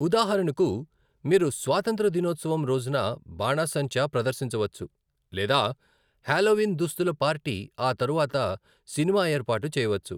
ఉదాహరణకు, మీరు స్వాతంత్య్ర దినోత్సవం రోజున బాణసంచా ప్రదర్శించవచ్చు లేదా హాలోవీన్ దుస్తుల పార్టీ ఆ తరువాత సినిమాఏర్పాటు చేయవచ్చు.